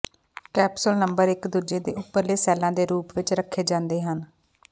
capsule number ਇਕ ਦੂਜੇ ਦੇ ਉਪਰਲੇ ਸੈੱਲਾਂ ਦੇ ਰੂਪ ਵਿੱਚ ਰੱਖੇ ਜਾਂਦੇ ਹਨ